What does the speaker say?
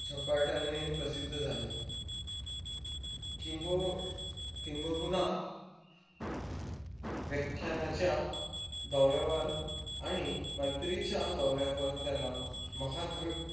झपाट्याने प्रसिद्ध झाले. किंब किंबहुना व्याख्यानाच्या दौऱ्यावर आणि मैत्रीच्या दौऱ्यावर त्याला महाद्र,